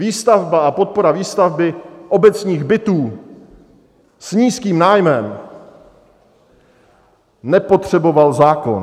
Výstavba a podpora výstavby obecních bytů s nízkým nájmem nepotřebuje zákon.